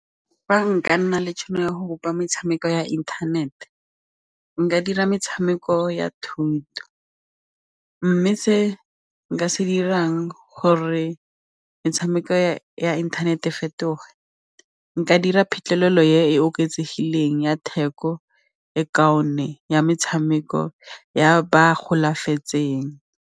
Fa nka nna le tšhono ya go bopa metshameko ya inthanete nka dira metshameko ya thuto mme se nka se dirang gore metshameko ya internet-e e fetoga nka dira phitlhelelo e e oketsegileng ya theko e kaone ya metshameko ya ba golafetseng.